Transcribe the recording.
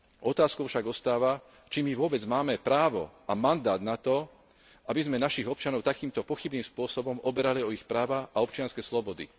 Otázkou však ostáva, či my vôbec máme právo a mandát na to, aby sme našich občanov takýmto pochybným spôsobom oberali o ich práva a občianske slobody.